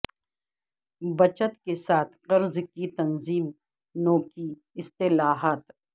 بچت کے ساتھ قرض کی تنظیم نو کی اصطلاحات